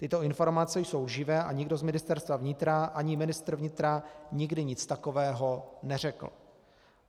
Tyto informace jsou lživé a nikdo z Ministerstva vnitra ani ministr vnitra nikdy nic takového neřekl.